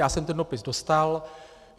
Já jsem ten dopis dostal.